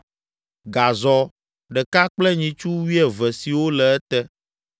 gazɔ ɖeka kple nyitsu wuieve siwo le ete;